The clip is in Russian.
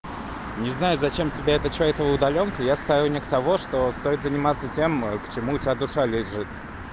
не знаю зачем тебе это что эта удалёнка я сторонник того что стоит заниматься тем к чему у тебя душа лежит